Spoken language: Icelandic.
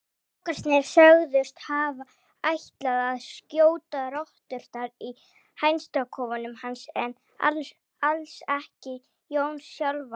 Strákarnir sögðust hafa ætlað að skjóta rotturnar í hænsnakofanum hans en alls ekki Jón sjálfan.